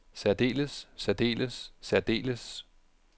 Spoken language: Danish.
særdeles særdeles særdeles